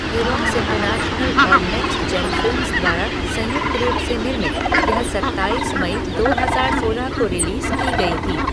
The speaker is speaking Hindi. इरॉस इंटरनेशनल और नेक्स्ट जेन फिल्म्स द्वारा संयुक्त रूप से निर्मित, यह सत्ताईस मई दो हजार सोलह को रिलीज़ की गई थी।